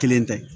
Kelen tɛ